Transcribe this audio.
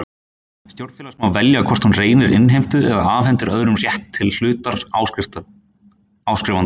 Stjórn félags má velja hvort hún reynir innheimtu eða afhendir öðrum rétt til hlutar áskrifandans.